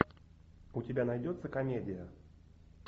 у тебя найдется комедия